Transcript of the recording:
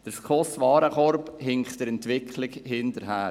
Der SKOS-Warenkorb hinkt der Entwicklung hinterher.